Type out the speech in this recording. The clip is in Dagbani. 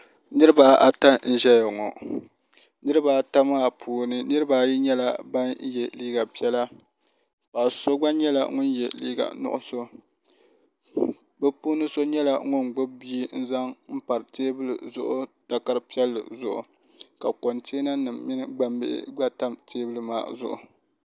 Niriba ata n zɛya ŋɔ niriba ata maa puuni niriba ayi nyɛla bini ye liiga piɛlla ka so gba nyɛla ŋuni ye liiga nuɣiso bi puuni so nyɛla ŋuni gbubi bia n zaŋ n pari tɛɛbuli zuɣu takari piɛlli zuɣu ka contiɛna nima minig aŋ bihi gba tam tɛɛbuli maa zuɣu.